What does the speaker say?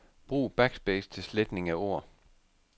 Brug backspace til sletning af ord.